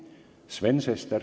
Sven Sester.